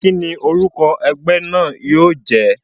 Kíni orúkọ egbé náà yío jé?